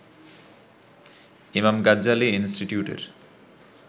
Imam Ghazali ইন্সটিটিউটের